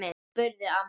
spurði amma.